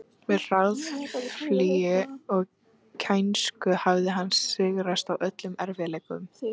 Með harðfylgi og kænsku hafði hann sigrast á öllum erfiðleikum.